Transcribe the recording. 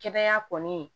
Kɛnɛya kɔni